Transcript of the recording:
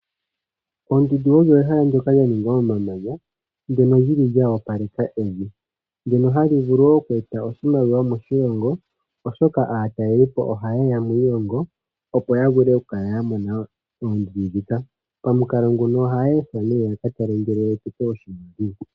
Oondundu odho ehala ndoka lya ningwa momanya ndono lyi li lya wapaleka evi ndhono dhi li wo hadhi vulu oku eta oshimaliwa moshilongo, oshoka aataleli po ohaye ya moshilongo opo ya vule oku kala ya mona oondundu ndhika. Pamukalo nguno ohaya ethwa nee yaka tale ngele eshito osho lyi li.